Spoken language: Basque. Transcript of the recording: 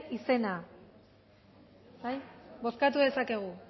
izena bozkatu dezakegu